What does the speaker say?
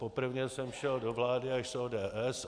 Poprvně jsem šel do vlády až s ODS.